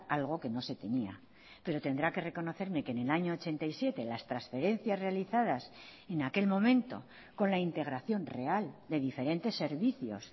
algo que no se tenía pero tendrá que reconocerme que en el año ochenta y siete las transferencias realizadas en aquel momento con la integración real de diferentes servicios